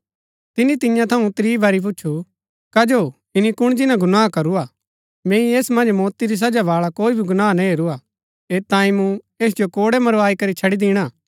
तिनी तियां थऊँ त्रीं बारी पुछू कजो ईनी कुण जिन्‍ना गुनाह करुरा मैंई ऐस मन्ज मौती री सजा बाळा कोई भी गुनाह ना हेरूआ ऐत तांई मूँ ऐस जो कोड़ै मरबाई करी छड़ी दिणा